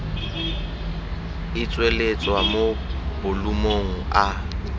e tsweletswa mo bolumong a